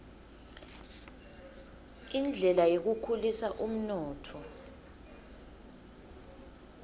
indlela yekukhulisa umnotfo